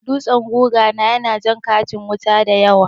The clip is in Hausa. Dutsen guga na ya na jan katin wuta dayawa